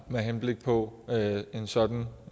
med henblik på en sådan